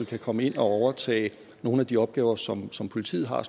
kan komme ind og overtage nogle af de opgaver som som politiet har